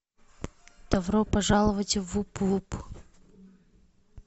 добро пожаловать в вуп вуп